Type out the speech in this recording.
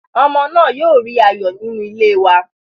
Ọmọ náà yóò rí ayọ̀ nínú ilé wa.